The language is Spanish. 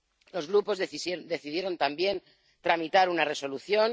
Los grupos decidieron también tramitar una Resolución